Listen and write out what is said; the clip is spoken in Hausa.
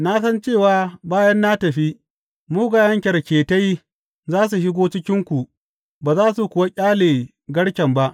Na san cewa bayan na tafi, mugayen kyarketai za su shigo cikinku ba za su kuwa ƙyale garken ba.